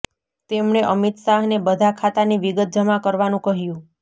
તેમણે અમિત શાહને બધા ખાતાની વિગત જમા કરવાનુ કહ્યુ